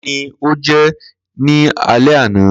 Kini o jẹ ni alẹ ana?